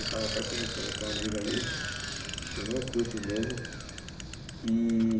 Eu estava até comentando com uma amiga ali, que eu não curto mesmo. E